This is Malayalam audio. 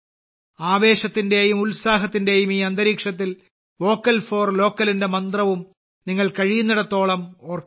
ആവേശത്തിന്റെയും ഉത്സാഹത്തിന്റെയും ഈ അന്തരീക്ഷത്തിൽ വോക്കൽ ഫോർ localന്റെ മന്ത്രവും നിങ്ങൾ കഴിയുന്നിടത്തോളം ഓർക്കണം